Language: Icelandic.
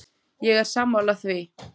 Ég er sammála því.